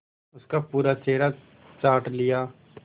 उसका पूरा चेहरा चाट लिया